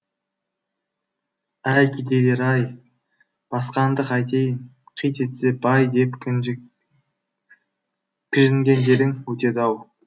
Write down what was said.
әй кедейлер ай басқанды қайтейін қит етсе бай деп кіжінгендерің өтеді ау